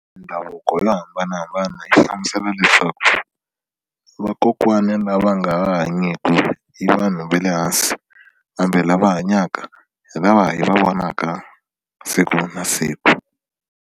Mindhavuko yo hambanahambana yi hlamusela leswaku vakokwani lava nga ha hanyiki i vanhu va le hansi kambe lava hanyaka hi lava hi va vonaka siku na siku.